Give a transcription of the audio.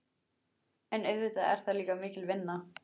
En auðvitað er það líka mikil vinna.